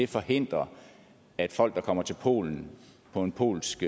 forhindre at folk der kommer til polen på en polsk